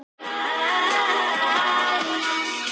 Og á vegginn.